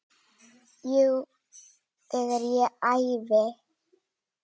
Jú, þegar ég æfi.